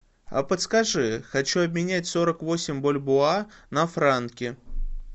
а подскажи хочу обменять сорок восемь бальбоа на франки